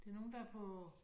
Det nogen der er på